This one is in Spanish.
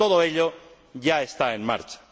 Y todo ello ya está en marcha.